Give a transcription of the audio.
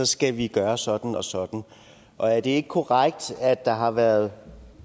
skal vi gøre sådan og sådan og er det ikke korrekt at der har været